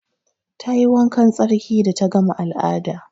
Ta yi wankan tsarki da ta gama al'ada.